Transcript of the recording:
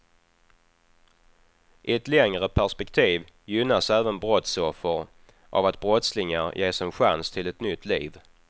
I ett längre perspektiv gynnas även brottsoffer av att brottslingar ges en chans till ett nytt liv.